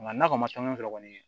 Nga n'a kɔni ma taa n'o sɔrɔ kɔni